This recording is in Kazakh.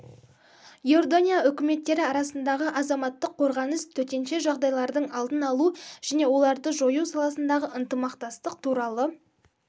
иордания үкіметтері арасындағы азаматтық қорғаныс төтенше жағдайлардың алдын алу және оларды жою саласындағы ынтымақтастық туралы